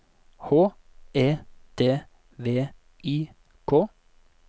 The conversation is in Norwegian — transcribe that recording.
H E D V I K